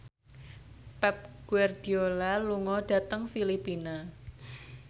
Pep Guardiola lunga dhateng Filipina